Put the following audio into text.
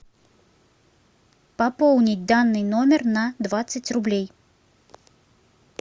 пополнить данный номер на двадцать рублей